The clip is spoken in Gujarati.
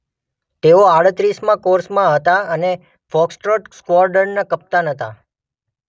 તેઓ આડત્રીસમાં કોર્સમાં હતા અને ફોક્સટ્રોટ સ્ક્વોડ્રનના કપ્તાન હતા.